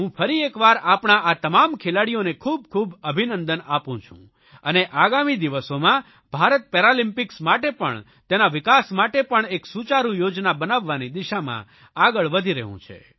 હું ફરી એકવાર આપણા આ તમામ ખેલાડીઓને ખૂબ ખૂબ અભિનંદન આપું છું અને આગામી દિવસોમાં ભારત પેરાલમ્પિકસ માટે પણ તેના વિકાસ માટે પણ એક સુચારૂ યોજના બનાવવાની દિશામાં આગળ વધી રહ્યું છે